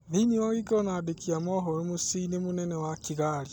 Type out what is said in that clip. Thĩini wa gĩikaro na andĩki a mohoro muciĩinĩ mũnene wa Kĩgari